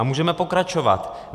A můžeme pokračovat.